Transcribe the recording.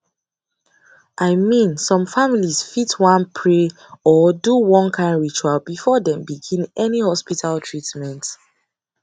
i mean some families fit wan pray or do one kind ritual before dem begin any hospital treatment